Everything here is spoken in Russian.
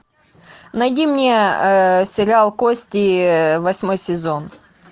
найди мне сериал кости восьмой сезон